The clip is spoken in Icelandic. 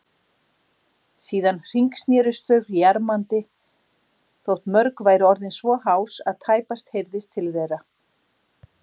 Síðan hringsnerust þau jarmandi, þótt mörg væru orðin svo hás að tæpast heyrðist til þeirra.